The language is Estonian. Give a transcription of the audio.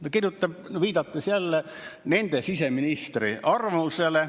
Ta kirjutab, viidates nende siseministri arvamusele.